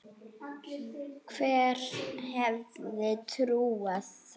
Hver hefði trúað þessu?